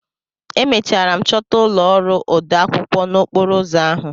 Emechara m chọta ụlọ ọrụ odeakwụkwọ n'okporo ụzọ ahụ.